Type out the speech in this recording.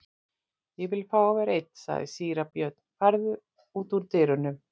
Ég vil fá að vera einn, sagði síra Björn,-farðu út og lokaðu dyrunum.